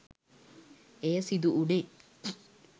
එය සිදු වුණේ